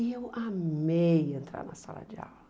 E eu amei entrar na sala de aula.